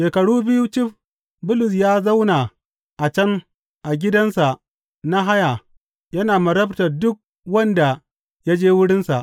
Shekaru biyu cif Bulus ya zauna a can a gidansa na haya yana marabtar duk wanda ya je wurinsa.